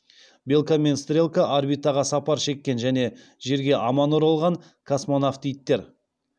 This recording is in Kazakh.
белка мен стрелка орбитаға сапар шеккен және жерге аман оралған космонавт иттер